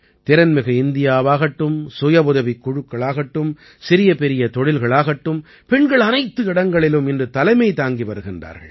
திறன்மிகு இந்தியாவாகட்டும் சுயவுதவிக் குழுக்களாகட்டும் சிறியபெரிய தொழில்களாகட்டும் பெண்கள் அனைத்து இடங்களிலும் இன்று தலைமை தாங்கி வருகின்றார்கள்